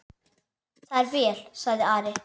Það er vel, sagði Ari.